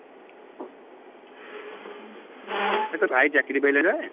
ଏ ତ ଭାଇ ଚାକିରୀ ପାଇଲା ରେ?